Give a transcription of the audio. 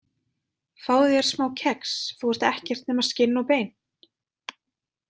Fáðu þér smá kex, þú ert ekkert nema skinn og bein.